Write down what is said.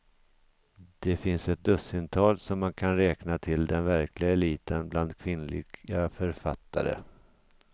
Det finns ett dussintal som man kan räkna till den verkliga eliten bland kvinnliga författare.